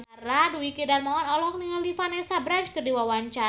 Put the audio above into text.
Dwiki Darmawan olohok ningali Vanessa Branch keur diwawancara